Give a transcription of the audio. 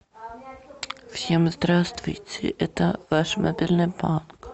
всем здравствуйте это ваш мобильный банк